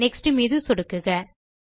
next மீது சொடுக்குக